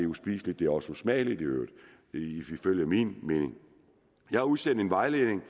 uspiseligt det er også usmageligt i øvrigt ifølge min mening jeg har udsendt en vejledning